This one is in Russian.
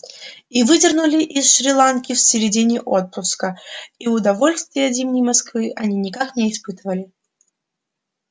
и выдернули из шри-ланки в середине отпуска и удовольствия от зимней москвы они никак не испытывали